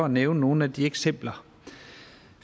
nævne nogle af de eksempler